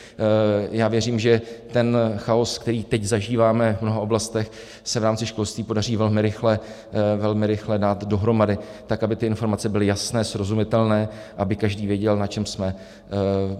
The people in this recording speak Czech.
Já věřím, že ten chaos, který teď zažíváme v mnoha oblastech, se v rámci školství podaří velmi rychle dát dohromady tak, aby ty informace byly jasné, srozumitelné, aby každý věděl, na čem jsme.